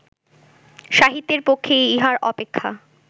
সাহিত্যের পক্ষে ইহার অপেক্ষা